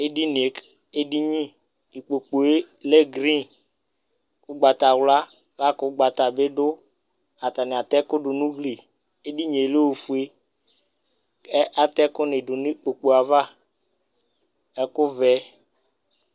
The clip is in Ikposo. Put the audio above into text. Edinie , ediniIkpokue lɛ green, ugbatawlaLakʋ ugbata bi dʋ Atani ata ɛkʋ du nʋ ugliEdinie lɛ ofueKʋ ata ɛkʋ ni du nʋ ikpoku yɛ'ava Ɛku vɛ,